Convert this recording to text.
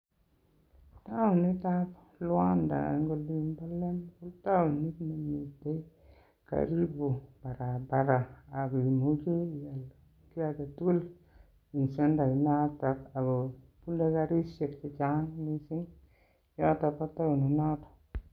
Taonitab Luanda en olinbo Lemik ko taonit nemiten karibu barabara kiy age tugul en centre inoton ago bune karishek chechang mising yoton bo taonit noto.